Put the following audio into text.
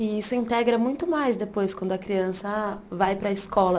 E isso integra muito mais depois, quando a criança vai para a escola.